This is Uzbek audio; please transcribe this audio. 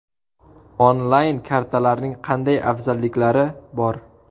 Onlayn-kartalarning qanday afzalliklari bor?